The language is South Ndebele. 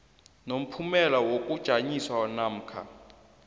nomphumela wokujanyiswa namkha